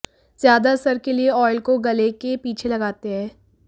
ज्यादा असर के लिए ऑइल को गले के पीछे लगाते हैं